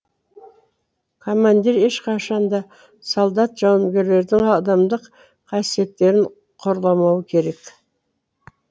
командир ешқашанда солдат жауынгерлердің адамдық қасиеттерін қорламауы керек